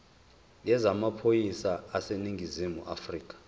yezamaphoyisa aseningizimu afrika